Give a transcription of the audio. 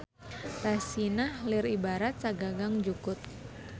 Rasinah lir ibarat sagagang jukut.